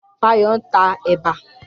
Fayọ̀ ń ta ẹ̀bà.